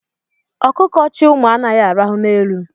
Ọkụkọ chị ụmụ anaghị araha n'elu.